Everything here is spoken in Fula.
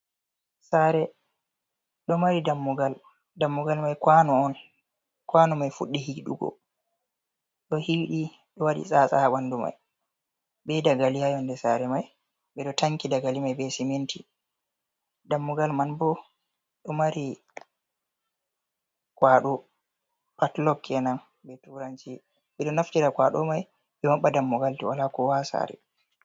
Sare, ɗo mari dammugal. Danmugal mai kwano on. Kwano mai Fuɗɗi hiiɗugo. Ɗo hiidi ɗe waɗi tsatsa ha banɗu mai. Be dagali ha nyonɗe sare mai. Beɗo tanki dagalimai be siminti dammugal mai. Bo do mari kwado patlok kenan be turanji. Beɗo naftira kwado mai be mabba dammugal. Wala koowa ha sare.